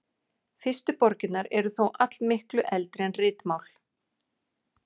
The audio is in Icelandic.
Fyrstu borgirnar eru þó allmiklu eldri en ritmál.